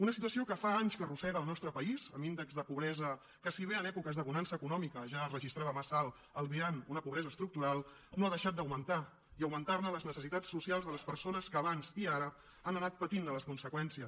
una situació que fa anys que arrossega el nostre país amb un índex de pobresa que si bé en èpoques de bonança econòmica es ja registrava massa alt albirant una pobresa estructural no ha deixat d’augmentar i ha augmentat les necessitats socials de les persones que abans i ara han anat patint ne les conseqüències